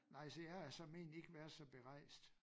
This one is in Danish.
Nej så jeg er såmen ike været så berejst